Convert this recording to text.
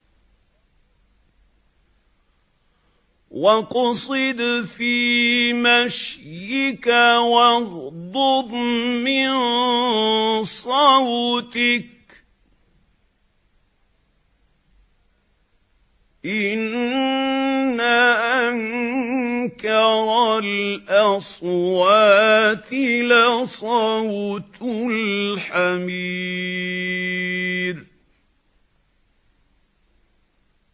وَاقْصِدْ فِي مَشْيِكَ وَاغْضُضْ مِن صَوْتِكَ ۚ إِنَّ أَنكَرَ الْأَصْوَاتِ لَصَوْتُ الْحَمِيرِ